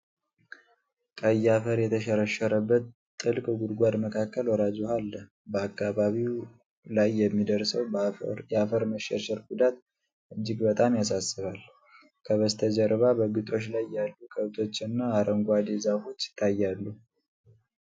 ቀይ አፈር የተሸረሸረበት ጥልቅ ጉድጓድ መካከል ወራጅ ውኃ አለ። በአካባቢው ላይ የሚደርሰው የአፈር መሸርሸር ጉዳት እጅግ በጣም ያሳስባል። ከበስተጀርባ በግጦሽ ላይ ያሉ ከብቶችና አረንጓዴ ዛፎች ይገኛሉ።